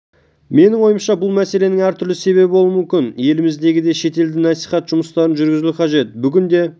менің ойымша бұл мәселенің әртүрлі себебі болуы мүмкін еліміздегі да шетелде насиіат жұмыстарын жүргізуі қажет бүгінде